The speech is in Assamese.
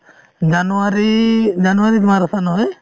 জানুৱাৰী জানুৱাৰীত মাৰাথান হয় |